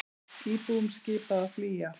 Íbúum skipað að flýja